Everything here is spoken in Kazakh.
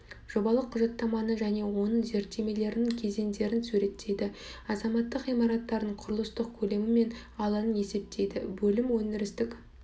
жобалық құжаттаманы және оның зерттемелерінің кезеңдерін суреттейді азаматтық ғимараттардың құрылыстық көлемі мен алаңын есептейді бөлім өндірістік